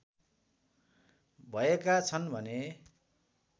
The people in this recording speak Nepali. भएका छन् भने